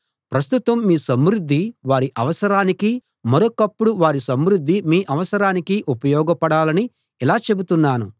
ప్రస్తుతం మీ సమృద్ధి వారి అవసరానికీ మరొకప్పుడు వారి సమృద్ధి మీ అవసరానికీ ఉపయోగపడాలని ఇలా చెబుతున్నాను